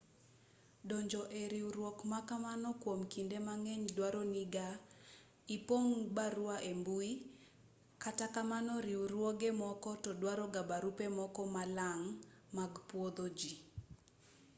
donjo e riwruok ma kamano kwom kinde mang'eny duaro ga ni ipong' barua ei mbui kata kamano riwruoge moko to duaroga barupe moko malang' mag pwodho ji